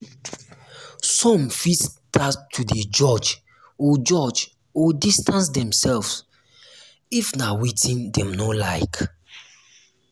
some fit start to de judge or judge or distance themselves if na wetin dem no like